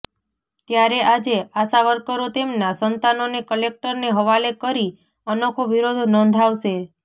ત્યારે આજે આશાવર્કરો તેમના સંતાનોને કલેક્ટરને હવાલે કરી અનોખો વિરોધ નોંધાવશે